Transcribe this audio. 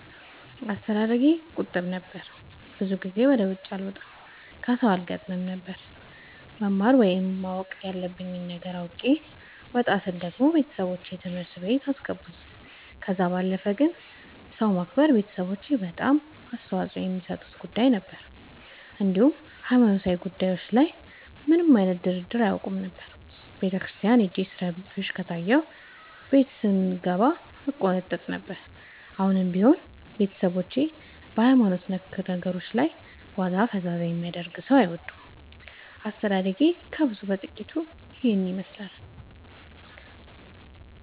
አስተዳደጌ ቁጥብ ነበር። ብዙ ጊዜ ወደ ውጪ አልወጣም ከሠው አልገጥምም ነበር። መማር ወይም ማወቅ ያለብኝ ነገር አውቄ ወጣ ስል ደግሞ ቤተሠቦቼ ትምህርት ቤት አስገቡኝ። ከዛ ባለፈ ግን ሰው ማክበር ቤተሠቦቼ በጣም አፅንኦት የሚሠጡት ጉዳይ ነበር። እንዲሁም ሀይማኖታዊ ጉዳዮች ላይ ምንም አይነት ድርድር አያውቁም ነበር። ቤተክርስቲያን ሄጄ ስረብሽ ከታየሁ ቤት ስንገባ እቆነጠጥ ነበር። አሁንም ቢሆን ቤተሠቦቼ በሀይማኖት ነክ ነገሮች ላይ ዋዛ ፈዛዛ የሚያደርግ ሠው አይወዱም። አስተዳደጌ ከብዙው በጥቂቱ ይህን ይመሥላል።